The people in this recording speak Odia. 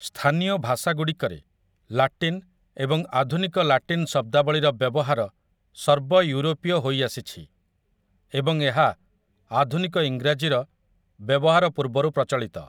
ସ୍ଥାନୀୟ ଭାଷାଗୁଡ଼ିକରେ, ଲାଟିନ୍ ଏବଂ ଆଧୁନିକ ଲାଟିନ୍ ଶବ୍ଦାବଳୀର ବ୍ୟବହାର ସର୍ବୟୁରୋପୀୟ ହୋଇଆସିଛି ଏବଂ ଏହା ଆଧୁନିକ ଇଂରାଜୀର ବ୍ୟବହାର ପୂର୍ବରୁ ପ୍ରଚଳିତ ।